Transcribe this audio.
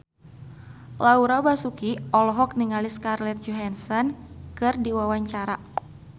Laura Basuki olohok ningali Scarlett Johansson keur diwawancara